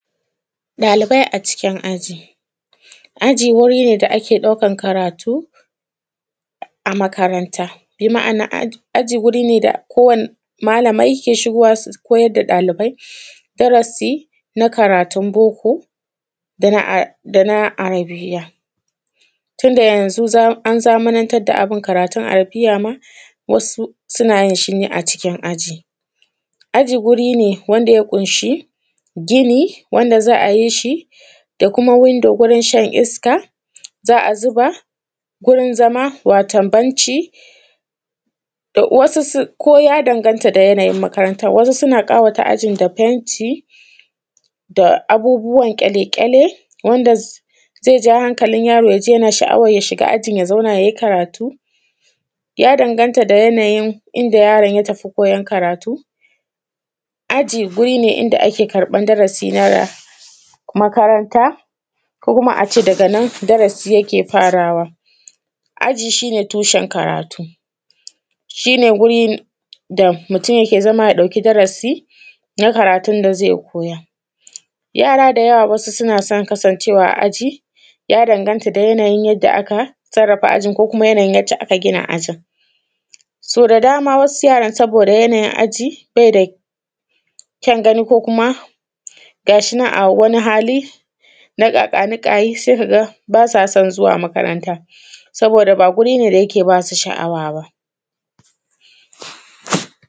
Ɗalibai a cikin aji. Aji wuri ne da ake daukan karatu a makaranta, bi ma’ana, aji wuri ne da kowani malamai ke shigowa su koyar da dalibai darasi na karatun boko da na arabiyya, tun da yanzu za; an zamanantar da abin karatun arabiyya ma wasu suna yin shi ne a cikin aji aji guri ne wanda ya ƙunshi gini wanda za a yi shi da kuma windo gurin shan iska, za a zuba gurin zama wato benci, wasu sun ko ya danganta da yanayin makarantar, wasu suna ƙawata ajin da fenti da abubuwan ƙyaleƙyale wanda zai ja hankalin yaro ya ji yana sha’awar ya shiga ajin ya zauna ya yi karatu, ya danganta da yanayin inda yaron ya tafi koyon karatu Aji guri ne inda ake karbar darasi na makaranta ko kuma a ce daga nan darasi yake farawa, aji shi ne tushen karatu, shi ne guri da mutum yake zama ya dauki darasi na karatun da zai koya yara da yawa wasu suna son kasancewa a aji, ya danganta da yanayin yadda aka sarrafa ajin ko kuma yanayin yadda aka gina ajin, So da dama wasu yaran saboda yanayin aji bai da kyan gani ko kuma ga shi nan a wani hali na ƙaƙa-ni-kayi, sai ka ga ba sa san zuwa makaranta saboda ba guri ne da yake ba su sha’awa ba.